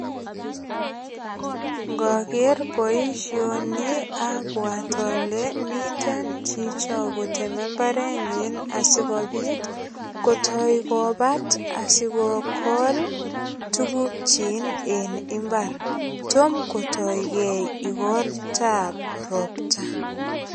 Ngoger boisioni abwat ale miten chicho kotemei mbarenyin asigopit kotoi kobat asikogol tugukchin en imbar. Tom kotoi gei igortab ropta.